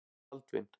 Baldvin